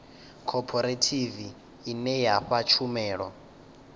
khophorethivi ine ya fha tshumelo